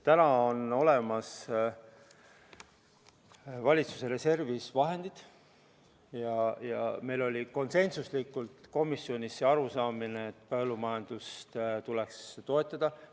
Praegu on valitsuse reservis olemas vahendid ja meil oli komisjonis konsensuslik arusaamine, et põllumajandust tuleks toetada.